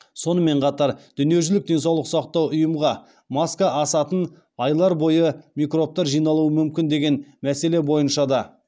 сонымен қатар дүниежүзілік денсаулық сақтау ұйымға маска асатын айлар бойы микробтар жиналуы мүмкін деген мәселе бойыншада